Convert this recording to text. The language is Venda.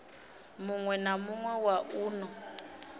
muwe na muwe wa uno